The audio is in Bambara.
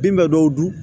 Bin bɛ dɔw dun